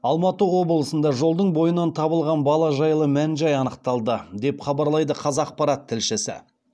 алматы облысында жолдың бойынан табылған бала жайлы мән жай анықталды деп хабарлайды қазақпарат тілшісі